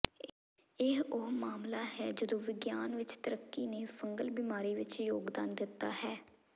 ਇਹ ਉਹ ਮਾਮਲਾ ਹੈ ਜਦੋਂ ਵਿਗਿਆਨ ਵਿੱਚ ਤਰੱਕੀ ਨੇ ਫੰਗਲ ਬਿਮਾਰੀ ਵਿੱਚ ਯੋਗਦਾਨ ਦਿੱਤਾ ਹੈ